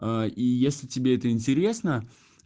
а и если тебе это интересно